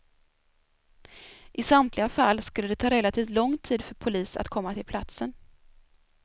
I samtliga fall skulle det ta relativt lång tid för polis att komma till platsen.